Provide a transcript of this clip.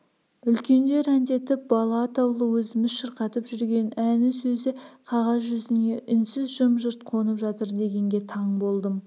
үлкендер әндетіп бала атаулы өзіміз шырқатып жүрген ән сөзі қағаз жүзіне үнсіз жым-жырт қонып жатыр дегенге таң болдым